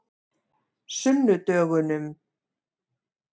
sunnudögunum